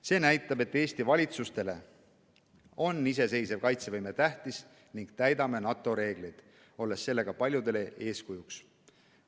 See näitab, et Eesti valitsustele on iseseisev kaitsevõime tähtis ning me täidame NATO reegleid, olles sellega paljudele eeskujuks.